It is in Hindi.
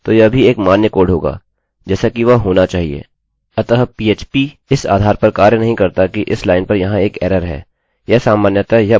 अतः phpपीएचपी उस आधार पर कार्य नहीं करता कि इस लाइन पर यहाँ एक एररerror है